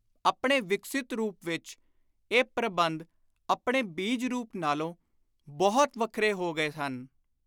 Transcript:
ਆਪਣੇ ਵਿਕਸਿਤ ਰੂਪ ਵਿਚ ਪ੍ਰਬੰਧ ਆਪਣੇ ਬੀਜ-ਰੂਪ ਨਾਲੋਂ ਬਹੁਤ ਵੱਖਰੇ ਹੋ ਗਏ ਹਨ।